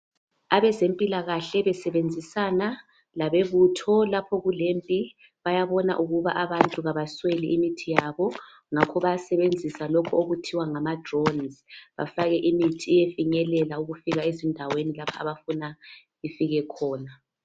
Abezempilakahle besebenzisana labezokuthula lapho kulempi bayabona ukuthi abantu abasweli imithi yabo ngakho bayasebenzisa lokhu okuthiwa ngamadrones bafake imithi iyefinyelela ukufika ezindaweni lapha abafuna ifike khona.